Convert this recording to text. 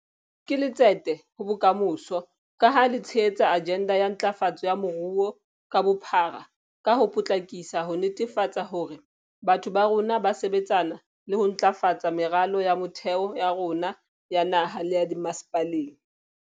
Ke letsete ho bokamoso, ka ha le tshehetsa ajenda ya ntlafatso ya moruo ka bophara ka ho potlakisa ho netefatsa hore batho ba rona ba sebetsana le ho ntlafatsa meralo ya motheo ya rona ya naha le ya dimmasepaleng.